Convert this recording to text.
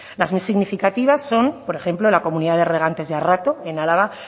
las más significativas son por ejemplo la comunidad de regantes de arrato en álava